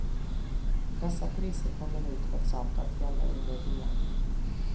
Dessa priser kommer nu trots allt att gälla under rean.